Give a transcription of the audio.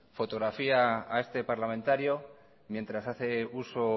fotografía a este parlamentario mientras hace uso